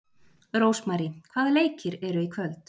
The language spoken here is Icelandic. Rósmary, hvaða leikir eru í kvöld?